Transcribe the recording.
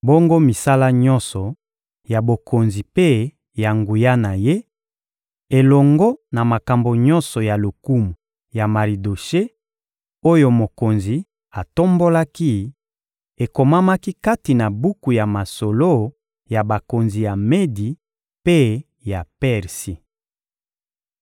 Bongo misala nyonso ya bokonzi mpe ya nguya na ye, elongo na makambo nyonso ya lokumu ya Maridoshe oyo mokonzi atombolaki, ekomamaki kati na buku ya masolo ya bakonzi ya Medi mpe ya Persi.